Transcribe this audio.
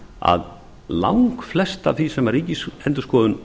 að langflest af því sem ríkisendurskoðun